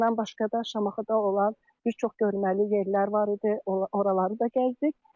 Bundan başqa da Şamaxıda olan bir çox görməli yerlər var idi, oraları da gəzdik.